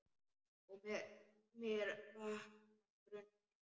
Og með mér vaknar grunur.